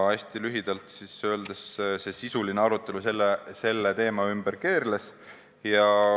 Hästi lühidalt öeldes sedasi see sisuline arutelu selle teema ümber keerles.